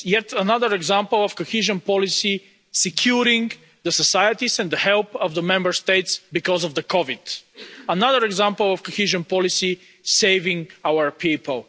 This is yet another example of cohesion policy securing the societies and the help of the Member States because of COVID another example of cohesion policy saving our people.